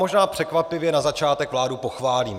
Možná překvapivě na začátek vládu pochválím.